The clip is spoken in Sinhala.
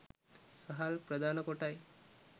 සහල් ප්‍රධාන කොටයි.